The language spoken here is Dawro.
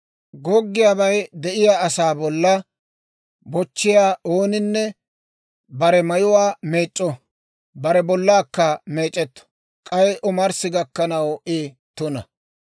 « ‹Goggiyaabay de'iyaa asaa bollaa bochchiyaa ooninne bare mayuwaa meec'c'o; bare bollaakka meec'etto; k'ay omarssi gakkanaw I tuna.